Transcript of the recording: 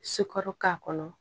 Sukaro k'a kɔnɔ